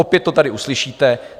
Opět to tady uslyšíte.